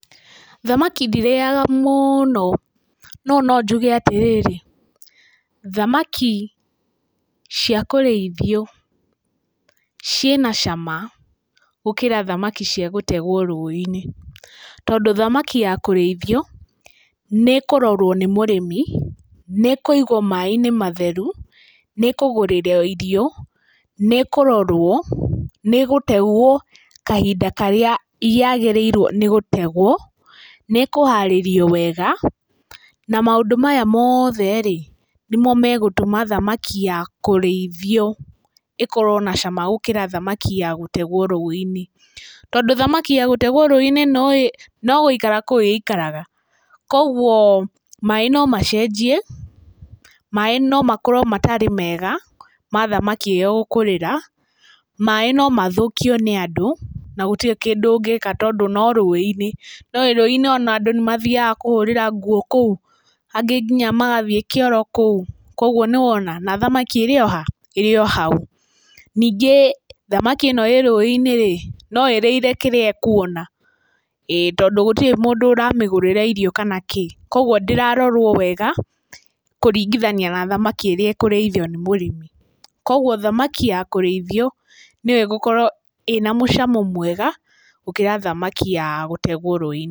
Thamaki ndirĩyaga mũno no no njuge atĩrĩrĩ thamaki cia kũrĩithio ciĩna cama gũkĩra thamaki cia gũtegwo rũĩ-inĩ. Tondũ thamaki ya kũrĩithio nĩĩkũrorwo nĩ mũrĩmi, nĩkũigwo maaĩ-inĩ matheru nĩkũgũrĩrwo irio nĩkũrorwo nĩgũtegwo kahinda karĩa yagĩrĩirwo nĩ gũtegwo, nĩkũharĩrio wega na maũndũ maya mothe rĩ nĩmo magũtũma thamaki ya kũrĩithio ĩkorwo na cama gũkĩra thamaki ya gũtegwo rũĩ-inĩ. Tondũ thamaki ya gũtegwo rũĩ-inĩ no gũikara ĩikaraga kũu koguo maaĩ nomacenjie maaĩ no makorwo matarĩ mega ma thamaki ĩyo gũkũrĩra. Maaĩ no mathũkio nĩ andũ na gũtirĩ kĩndũ ũngĩka tondũ no rũĩ-inĩ. Nĩũe ona rũĩ-inĩ andũ nĩmathiyaga kũhũrĩra nguo kũu, angĩ nginya magathiĩ nginya kĩoro kũu koguo nĩwona na thamaki ĩrĩ ohau. Ningĩ thamaki ĩno ĩrĩ rũĩ-inĩ no ĩrĩire kĩrĩa ĩkuona tondũ gũtirĩ mũndũ ũramĩgũrĩra irio kana kĩ. Koguo ndĩrarorwo wega kũringithania na thamaki ĩrĩa ĩkũrĩithio nĩ mũrĩmi. Koguo thamaki ya kũrĩithio nĩyo ĩgũkorwo na mũcamo mwega gũkĩra thamaki ya gũtegwo rũĩ-inĩ.